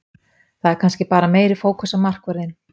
Það er kannski bara meiri fókus á markvörðinn.